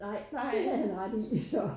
Nej det havde han ret i så